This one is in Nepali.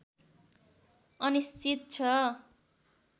अनिश्चित छ